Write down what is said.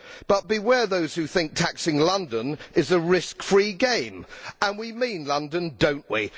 But beware those who think that taxing London is a risk free game and we mean London don't we?